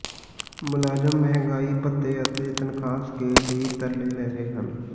ਮੁਲਾਜ਼ਮ ਮਹਿੰਗਾਈ ਭੱਤੇ ਅਤੇ ਤਨਖਾਹ ਸਕੇਲ ਲਈ ਤਰਲੇ ਲੈ ਰਹੇ ਹਨ